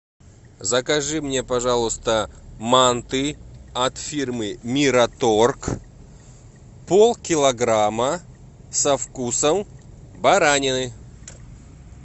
закажи мне пожалуйста манты от фирмы мираторг полкилограмма со вкусом баранины